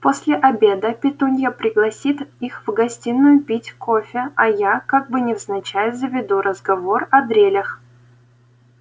после обеда петунья пригласит их в гостиную пить кофе а я как бы невзначай заведу разговор о дрелях